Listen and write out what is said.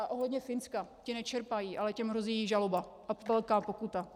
A ohledně Finska - ti nečerpají, ale těm hrozí žaloba a velká pokuta.